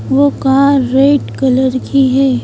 वो car red colour की है।